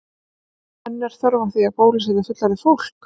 En er þörf á því að bólusetja fullorðið fólk?